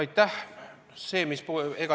Aitäh!